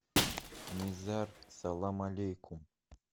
низар салам алейкум